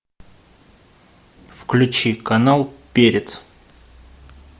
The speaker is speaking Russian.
включи канал перец